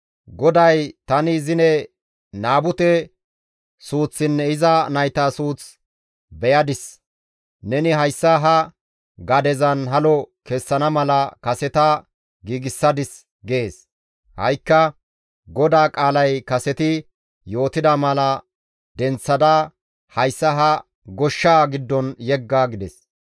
GODAY, ‹Tani zine Naabute suuththinne iza nayta suuth beyadis. Neni hayssa ha gadezan halo kessana mala kaseta giigsadis› gees; ha7ikka GODAA qaalay kaseti yootida mala denththada hayssa ha goshshaa giddon yegga» gides.